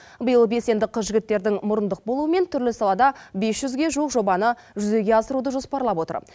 биыл белсенді қыз жігіттердің мұрындық болуымен түрлі салада бес жүзге жуық жобаны жүзеге асыруды жоспарлап отыр